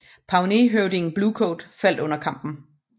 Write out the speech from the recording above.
Pawneehøvding Blue Coat faldt under kampen